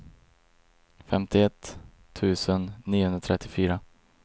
femtioett tusen niohundratrettiofyra